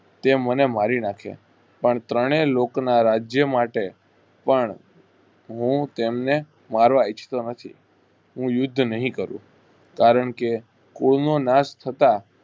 તેમને મારી નાખે પણ તણેય લોકના રાજ્ય માટે પણ હું તેમ ને મારવા ઈચ્છતો નથી. હું યુદ્ધ નહિ કરું કારણ કે કોઈ નો નાશ થતા